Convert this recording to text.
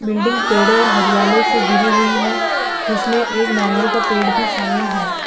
Building पेड़ो और हरियालो से घिरी हुई है जिसमे एक नारियल का पेड़ भी शामिल है।